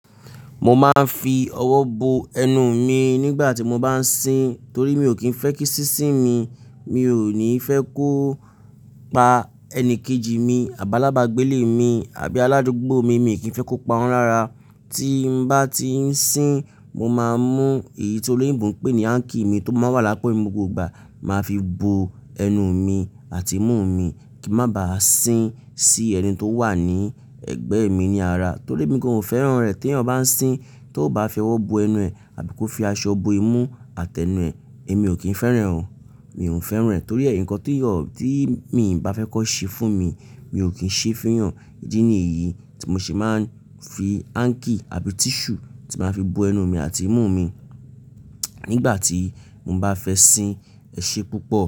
Mo máa ń fi ọwọ́ bo ẹnu mi nígbà tí mo bá ń sìn torí mi ò kí ń fẹ́ kí sísìn mi, mi ò ní fẹ́ kó pa ẹni kejì mi, àbi álábàgbélé mi àbí aládùúgbò mi, mi ò kí ń fẹ́ kó pa wọ́n lára. Tí n bá ti ń sìn, mo máa ń mú èyí tí olóyìnbo ń pè ní hanky mi tó máa ń wà lápọ̀ mi ni gbogbo ìgbà, màá fi bo ẹnu mi àti imú mi kí n má bàá sìn sí ẹni tó wà ní ẹ̀gbẹ́ mi ní ara. Torí emi gan o fẹ́ràn rẹ̀ teeyan bá ń sìn, tó bá fi ọwọ́ bo ẹnu ẹ̀ àbí kó fi aṣọ bo imú àtẹnu ẹ, èmi ò kí ń fẹ́ràn. Mi ò ń fẹ́ràn e torí e nǹkan tí mi bá fẹ́ kón ṣe fún mi, mi ò kí ń ṣe fun eeyan. Ídí nìyí tí mo se máa ń fi hanky àbí tissue tí màá fi bo ẹnu mi àti imú mi nígbà tí mo bá fẹ́ sìn. Ẹ ṣe púpọ̀.